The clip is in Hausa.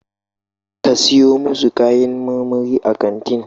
Ka siyo masu kayan marmari a kantin